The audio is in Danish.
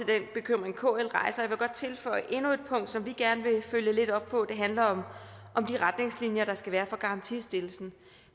den bekymring kl rejser og tilføje endnu et punkt som vi gerne vil følge lidt op på og handler om de retningslinjer der skal være for garantistillelsen